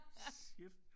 Shit